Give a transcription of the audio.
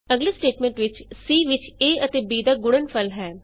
ਅਗਲੀ ਸਟੇਟਮੈਂਟ ਵਿਚ c ਵਿਚ a ਅਤੇ b ਦਾ ਗੁਣਨਫਲ ਹੈ